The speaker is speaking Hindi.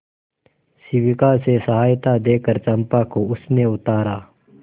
शिविका से सहायता देकर चंपा को उसने उतारा